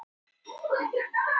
Sá með skeinuna.